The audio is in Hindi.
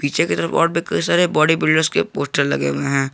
चित्र में बहुत सारे बॉडी बिल्डर्स के पोस्टर लगे हुए हैं।